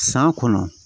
San kɔnɔ